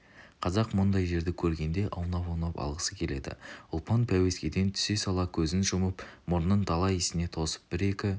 қазақ мұндай жерді көргенде аунап-аунап алғысы келеді ұлпан пәуескеден түсе сала көзін жұмып мұрнын дала иісіне тосып бір-екі